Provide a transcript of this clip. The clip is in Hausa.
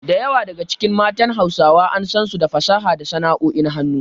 Da yawa daga cikin matan Hausawa an san su da fasaha da sana’o’in hannu.